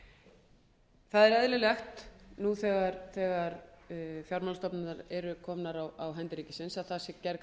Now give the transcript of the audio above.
það er eðlilegt nú þegar fjármálastofnanirnar eru komnar á hendur ríkisins að gerð sé